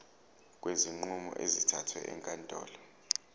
kwezinqumo ezithathwe ezinkantolo